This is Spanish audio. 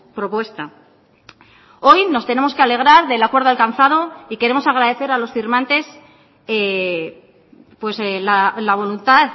propuesta hoy nos tenemos que alegrar del acuerdo alcanzado y queremos agradecer a los firmantes la voluntad